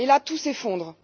Et là, tout s'effondre!